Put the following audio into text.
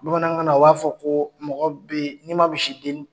Bamanankan na o b'a fɔ ko mɔgɔ bɛ n'i ma misi denni